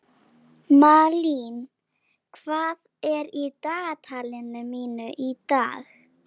Malín, hvað er í dagatalinu mínu í dag?